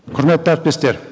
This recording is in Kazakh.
құрметті әріптестер